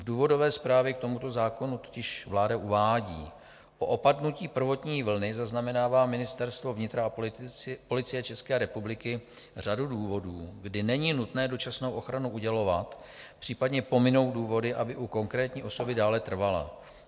V důvodové zprávě k tomuto zákonu totiž vláda uvádí: "Po opadnutí prvotní vlny zaznamenává Ministerstvo vnitra a Policie České republiky řadu důvodů, kdy není nutné dočasnou ochranu udělovat, případně pominou důvody, aby u konkrétní osoby dále trvala.